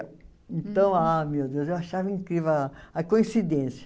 Então, ah, meu Deus, eu achava incrível a a coincidência.